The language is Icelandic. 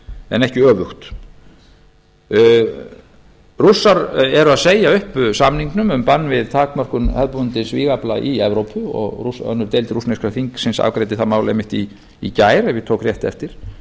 en ekki öfugt rússar eru að segja upp samningnum um bann við takmörkun hefðbundins vígafla í evrópu önnur deild rússneska þingsins afgreiddi það mál einmitt í gær ef ég tók rétt eftir